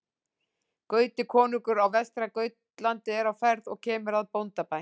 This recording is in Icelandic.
Gauti konungur á Vestra-Gautlandi er á ferð og kemur að bóndabæ.